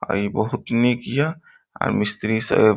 आ ई बोहुत निक य आर मिस्त्री स --